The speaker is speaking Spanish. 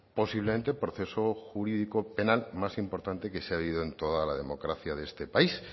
posiblemente proceso jurídico penal más importante que se ha vivido en toda la democracia de este país